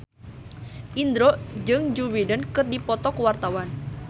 Indro jeung Joe Biden keur dipoto ku wartawan